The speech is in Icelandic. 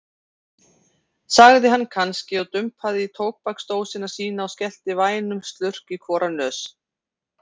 sagði hann kannski og dumpaði í tóbaksdósina sína og skellti vænum slurk í hvora nös.